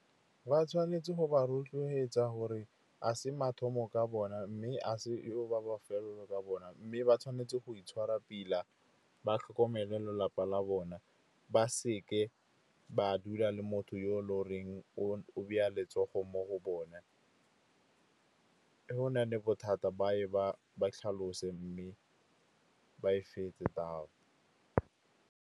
Ba tshwanetse go ba rotloetsa gore a se mathomo ka bona, mme a se ba bofelelo ka bona. Mme ba tshwanetse go itshwara, pila ba tlhokomele lelapa la bona. Ba seke ba dula le motho yo lo reng o beya letsogo mo go bone. Go na le bothata ba tlhalose, mme ba e fetse .